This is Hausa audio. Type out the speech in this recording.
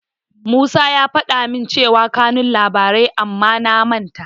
Musa ya faɗa min cewa kanun labarin amma na manta.